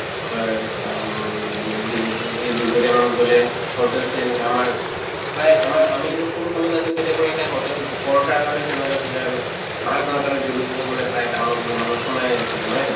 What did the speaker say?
কি কয় আম দি দুপৰিয়া মান গʼলে hotels তো এনেকা আমাৰ প্ৰায় আমাৰ আমি আছিলোঁ তেতিয়া পৰা এটা hotel পৰঠাৰ কাৰণে famous আছিলে আৰু মানে প্ৰায় town ত গʼলে মানুহ সোমাই আছিলে নহয় জানো?